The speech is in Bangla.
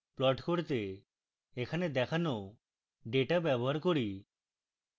প্লট করতে এখানে দেখানো ডেটা ব্যবহার করি